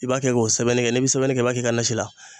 I b'a kɛ k'o sɛbɛnni kɛ n'i bi sɛbɛnni kɛ i b'a k'i ka nasi la.